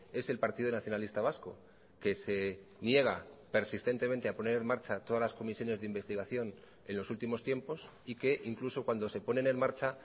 es el partido nacionalista vasco que se niega persistentemente a poner en marcha todas las comisiones de investigación en los últimos tiempos y que incluso cuando se ponen en marcha